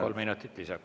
Kolm minutit lisaks.